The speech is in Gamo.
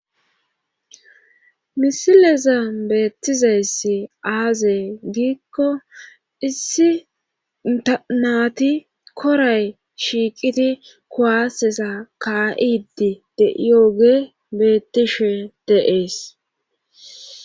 Misileza beettizayssi aazee giikko issi tanaati koray shiiqidi kuwasesa ka'idi deyooge bettishe de'ees.